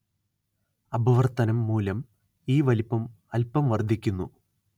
അപവർത്തനം മൂലം ഈ വലിപ്പം അൽപം വർദ്ധിക്കുന്നു